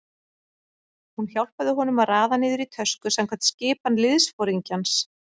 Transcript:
Hún hjálpaði honum að raða niður í tösku samkvæmt skipan liðsforingjans.